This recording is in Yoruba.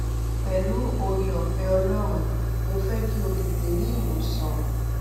pẹlú ooreọfẹ ọlọrun mo fẹ kí o tètè rí ìwòsàn